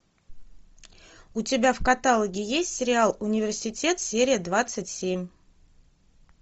у тебя в каталоге есть сериал университет серия двадцать семь